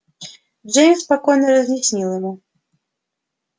джеймс спокойно разъяснил ему